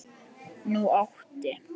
Nú átti